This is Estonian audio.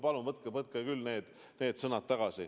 Palun võtke need sõnad tagasi!